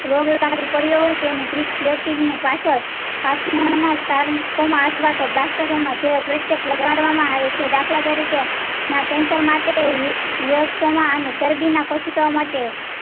રોગ લાગુ પડ્યો હોય તેની ગ્રીક પ્લેટિંગ ની પાછળ અથવા તો બ્લાસ્ટરોમાં જે લગાડવામાં આવે છે દાખલા તરીકે ના cancer માટે અને ચરબી ના કોશિકાઓ માટે